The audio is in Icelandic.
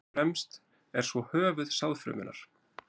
fremst er svo höfuð sáðfrumunnar